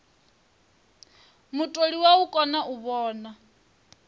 mutholiwa u kona u vhona